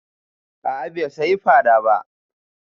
A'a bai saya fara ba